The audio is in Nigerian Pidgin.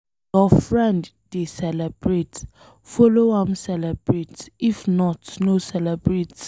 If your friend dey celebrate, follow am celebrate if not no celebrate.